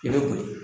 I bɛ boli